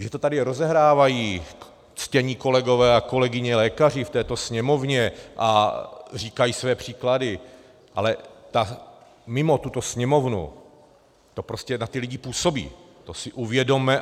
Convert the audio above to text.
Že to tady rozehrávají ctění kolegové a kolegyně lékaři v této Sněmovně a říkají své příklady, ale mimo tuto Sněmovnu to prostě na ty lidi působí, to si uvědomme.